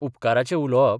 उपकाराचे उलोवप